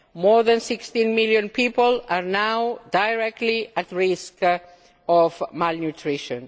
More than 16 million people are now directly at risk of malnutrition.